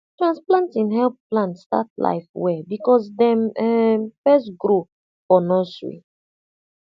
transplanting help plant start life well because dem um first grow for nursery